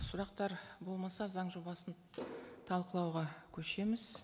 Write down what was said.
сұрақтар болмаса заң жобасын талқылауға көшеміз